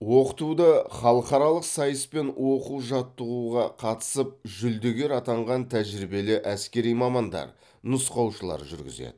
оқытуды халықаралық сайыс пен оқу жаттығуға қатыс ып жүлдегер атанған тәжірибелі әскери мамандар нұсқаушылар жүргізеді